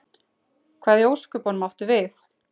Hvað í ósköpunum áttu við?